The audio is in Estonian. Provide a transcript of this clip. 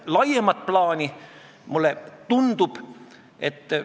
Itaalia on selles mõttes pehmem: tuvide toitmise eest saab ainult kuni 600 eurot trahvi.